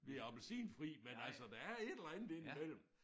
Vi appelsinfri men altså der er et eller andet indimellem